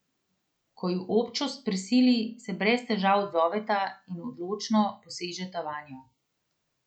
Ko ju občost prisili, se brez težav odzoveta in odločno posežeta vanjo.